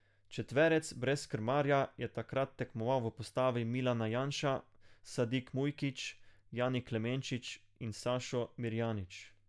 Četverec brez krmarja je takrat tekmoval v postavi Milan Janša, Sadik Mujkić, Jani Klemenčič in Sašo Mirjanič.